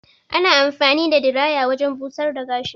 Ana anfani da diraya wajen busar da gashi.